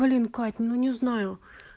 блин кать ну не знаю